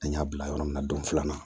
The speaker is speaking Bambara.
An y'a bila yɔrɔ min na don filanan